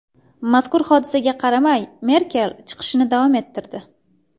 Mazkur hodisaga qaramay, Merkel chiqishini davom ettirdi.